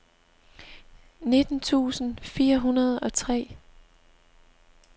nitten tusind fire hundrede og tre